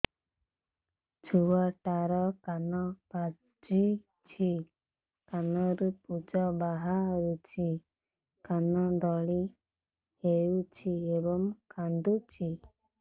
ଛୁଆ ଟା ର କାନ ପାଚୁଛି କାନରୁ ପୂଜ ବାହାରୁଛି କାନ ଦଳି ହେଉଛି ଏବଂ କାନ୍ଦୁଚି